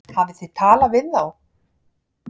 Hafið þið talað við þá?